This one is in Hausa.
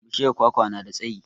Bishiyar kwakwa na da tsayi